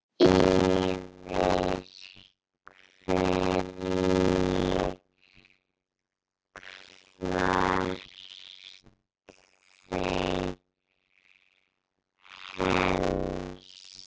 Yfir hverju kvarta þeir helst?